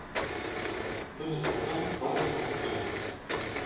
біз жоқтан бар жасап жүрміз